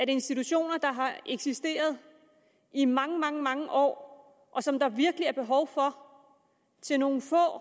institutioner der har eksisteret i mange mange mange år og som der virkelig er behov for til nogle få